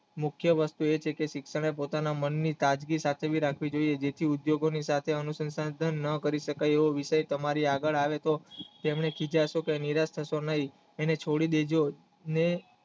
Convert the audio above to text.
મુખ્ય વસ્તુ એ છે કે શિક્ષકે પોતાના મન ની સાદગી સાથે સાચવી રાખવી જોયે જેથી ઉદ્યોગોની સાથે અનુશંસાસન ન કરી શકાય એવું વિષય તમારી આગળ આવે તો તેમને ખિજાશો કે નિરાશ કારસો નહિ એને છોડી દેજો ને